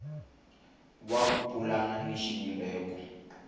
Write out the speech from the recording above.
wa ku pulana na xivumbeko